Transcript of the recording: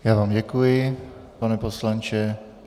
Já vám děkuji, pane poslanče.